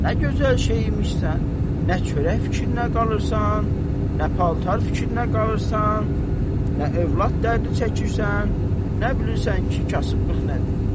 Nə gözəl şey imişsən, nə çörək fikrinə qalırsan, nə paltar fikrinə qalırsan, nə övlad dərdi çəkirsən, nə bilirsən ki, kasıblıq nədir.